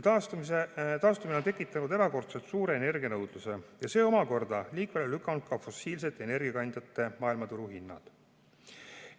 Taastumine on tekitanud erakordselt suure energianõudluse ja see omakorda on liikvele lükanud ka fossiilsete energiakandjate maailmaturuhinnad.